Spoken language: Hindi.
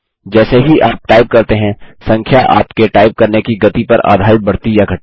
जैसे ही आप टाइप करते हैं संख्या आपके टाइप करने की गति पर आधारित बढ़ती या घटती है